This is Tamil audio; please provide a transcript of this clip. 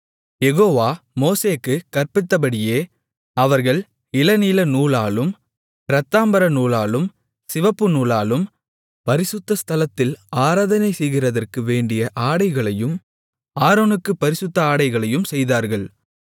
யெகோவா மோசேக்குக் கற்பித்தபடியே அவர்கள் இளநீலநூலாலும் இரத்தாம்பரநூலாலும் சிவப்புநூலாலும் பரிசுத்த ஸ்தலத்தில் ஆராதனை செய்கிறதற்கு வேண்டிய ஆடைகளையும் ஆரோனுக்குப் பரிசுத்த ஆடைகளையும் செய்தார்கள்